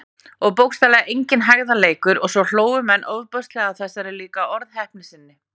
Og bókstaflega enginn hægðarleikur- og svo hlógu menn ofboðslega að þessari líka orðheppni sinni.